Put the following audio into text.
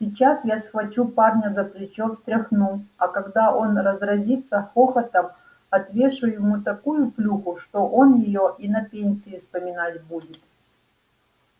сейчас я схвачу парня за плечо встряхну а когда он разразится хохотом отвешу ему такую плюху что он её и на пенсии вспоминать будет